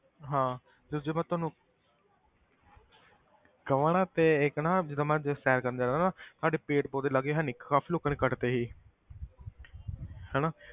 ਹਾਂ ਤੇ ਜੇ ਮੈਂ ਤੈਨੂੰ ਕਵਾਂ ਨਾ ਤੇ ਇੱਕ ਨਾ ਜਿੱਦਾਂ ਮੈਂ ਜੇ ਸੈਰ ਕਰਨਾ ਜਾਨਾ ਨਾ ਸਾਡੇ ਪੇੜ੍ਹ ਪੌਦੇ ਲਾਗੇ ਹੈ ਨੀ ਕਾਫ਼ੀ ਲੋਕਾਂ ਨੇ ਕੱਟ ਦਿੱਤੇ ਸੀ ਹਨਾ,